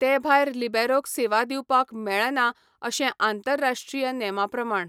तेभायर लिबेरोक सेवा दिवपाक मेळना अशें आंतरराश्ट्रीय नेमा प्रमाण.